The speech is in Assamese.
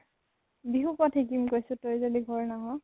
বিহু কত শিকিম কৈছো তই যদি ঘৰ নাহʼ?